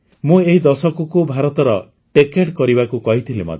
ମୁଁ ଏହି ଦଶକକୁ ଭାରତର ଟେଚଡେ କରିବାକୁ କହିଥିଲି ମଧ୍ୟ